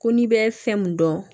Ko n'i bɛ fɛn mun dɔn